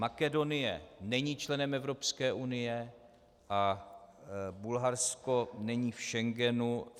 Makedonie není členem Evropské unie a Bulharsko není v Schengenu.